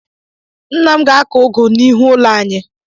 Ńnà m ga-ako ụgụ n'ihu ụlọ anyị.